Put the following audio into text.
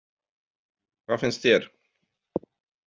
Hvað finnst þér?